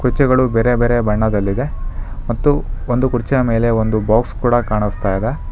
ಕುರ್ಚಿಗಳು ಬೇರೆ ಬೇರೆ ಬಣ್ಣದಲ್ಲಿದೆ ಮತ್ತು ಒಂದು ಕುರ್ಚಿಯ ಮೇಲೆ ಒಂದು ಬಾಕ್ಸ್ ಕೂಡ ಕಾಣಸ್ತಾ ಇದೆ.